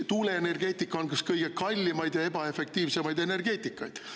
Tuuleenergeetika on üks kõige kallimaid ja ebaefektiivsemaid energeetikaid.